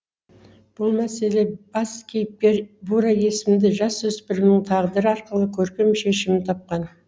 бұл мәселе бас кейіпкер бура есімді жасөсіпірімнің тағдыры арқылы көркем шешімін тапқан